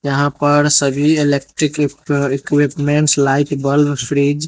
यहां पर सभी electric equip uh equipments light bulb fridge.